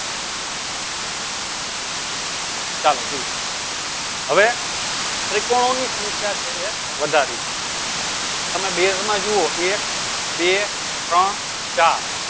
ચાલો જુઓ હવે ત્રિકોણો ની સંખ્યા છે વધારી તમે બેઝમાં જુઓ એક બે ત્રણ ચાર